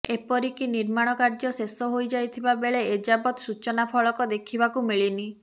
ଏପରିକି ନିର୍ମାଣ କାର୍ଯ୍ୟ ଶେଷ ହୋଇଯାଇଥିବା ବେଳେ ଏଯାବତ୍ ସୂଚନା ଫଳକ ଦେଖିବାକୁ ମିଳିନି